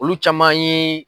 Olu caman ye